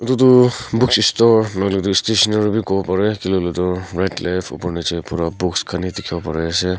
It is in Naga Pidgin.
itutu book isstore nahoile tu stationery wi kuwo pareh kilekuile tu right left upor niche pura books khan he dikhiwo pariase.